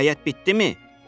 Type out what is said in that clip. Hekayət bitdimi?